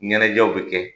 Ɲɛnajɛw bi kɛ